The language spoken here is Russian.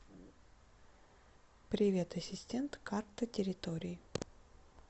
привет ассистент карта территории